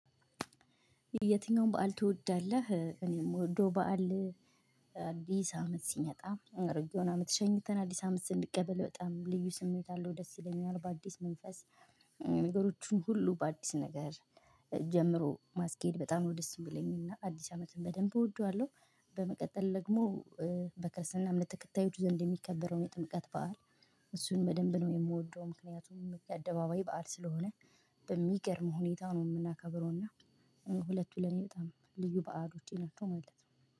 የትኛውን በዓል ትወዳለህ? እኔ ምወደው በዓል። አዲስ አመት ሲመጣ አሮጌውን አመት ሸኝተን አዲስ አመት ስንቀበል በጣም ልዩ ስሜት አለው ደስ ይለኛል በአዲስ መንፈስ። ነገሮችን ሁሉ በአዲስ ነገር ጀምሮ ማስኬድ በጣም ነው ደስ የሚለኝና አዲስ አመትን በደንብ እወደዋለሁ። በመቀጠል ደግሞ በክርስትና እምነት ተከታዮች ዘንድ የሚከበረውን የጥምቀት በዓል። እሱን በደንብ ነው የምወደው ምክንያቱም የአደባባይ በዓል ስለሆነ በሚገርም ሁኔታ ነው የምናከብረው እና ሁለቱ ለኔ ልዩ በዓሎቼ ናቸው። ማለት ነው